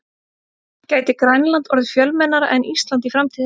Gæti Grænland orðið fjölmennara en Ísland í framtíðinni?